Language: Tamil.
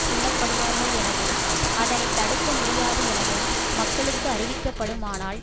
கொல்ல படுவார்கள் எனவும் அதனை தடுக்க முடியாது எனவும் மக்களுக்கு அறிவிக்கப்படுமானால்